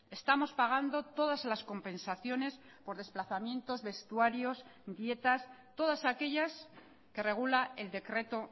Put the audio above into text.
estamos pagando todas las compensaciones por desplazamientos vestuarios dietas todas aquellas que regula el decreto